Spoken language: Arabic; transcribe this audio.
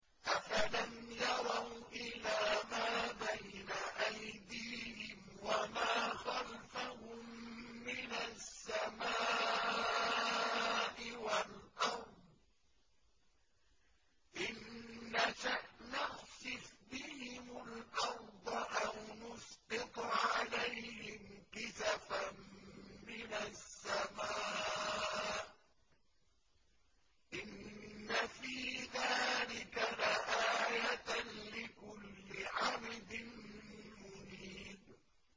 أَفَلَمْ يَرَوْا إِلَىٰ مَا بَيْنَ أَيْدِيهِمْ وَمَا خَلْفَهُم مِّنَ السَّمَاءِ وَالْأَرْضِ ۚ إِن نَّشَأْ نَخْسِفْ بِهِمُ الْأَرْضَ أَوْ نُسْقِطْ عَلَيْهِمْ كِسَفًا مِّنَ السَّمَاءِ ۚ إِنَّ فِي ذَٰلِكَ لَآيَةً لِّكُلِّ عَبْدٍ مُّنِيبٍ